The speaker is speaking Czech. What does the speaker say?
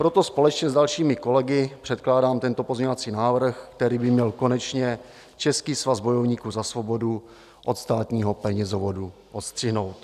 Proto společně s dalšími kolegy předkládám tento pozměňovací návrh, který by měl konečně Český svaz bojovníků za svobodu od státního penězovodu odstřihnout.